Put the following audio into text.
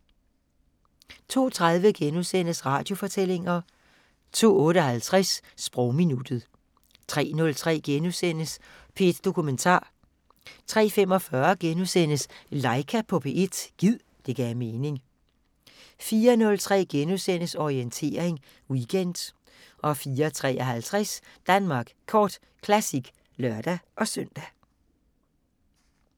02:30: Radiofortællinger * 02:58: Sprogminuttet 03:03: P1 Dokumentar * 03:45: Laika på P1 – gid det gav mening * 04:03: Orientering Weekend * 04:53: Danmark Kort Classic (lør-søn)